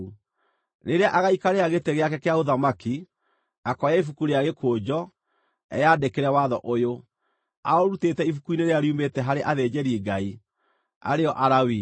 Rĩrĩa agaikarĩra gĩtĩ gĩake kĩa ũthamaki, akoya ibuku rĩa gĩkũnjo, eyandĩkĩre watho ũyũ, aũrutĩte ibuku-inĩ rĩrĩa riumĩte harĩ athĩnjĩri-Ngai, arĩ o Alawii.